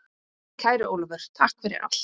Kæri Ólafur, takk fyrir allt.